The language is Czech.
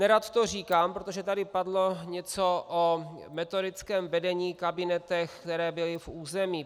Nerad to říkám, protože tady padlo něco o metodickém vedení, kabinetech, které byly v území.